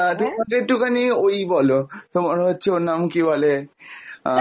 আরে না গো তুমি আমাকে আরেকটা recipe বলো, আহ তুমি আমাকে একটু খানি ওই বলো, তোমার হচ্ছে ওর নাম কি বলে আহ